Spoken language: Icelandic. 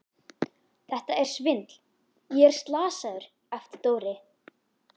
Þetta er svindl, ég er slasaður! æpti Dóri.